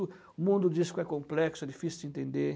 O mundo disco é complexo, é difícil de entender.